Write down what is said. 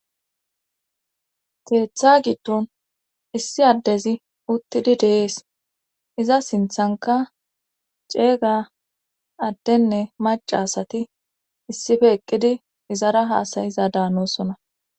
teetha giddon issi addezi uttidi deees iza sinthanka ceeyga addenne mac asati issife eqqidi izara haasayiza daanosona